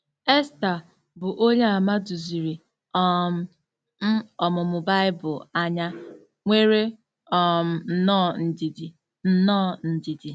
Esther, bụ́ Onyeàmà duziri um m ọmụmụ Bible anya, nwere um nnọọ ndidi. nnọọ ndidi.